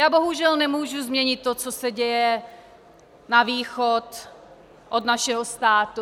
Já bohužel nemůžu změnit to, co se děje na východ od našeho státu.